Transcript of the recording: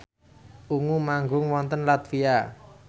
Ungu manggung wonten latvia